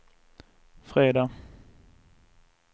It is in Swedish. fredag